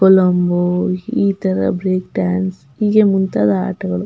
ಕೊಲಂಬೊ ಈ ತರ break dance ಹಿಂಗೇ ಮುಂತಾದ ಆಟಗಳು --